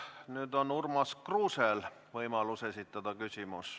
Nüüd on Urmas Kruusel võimalus küsimus esitada.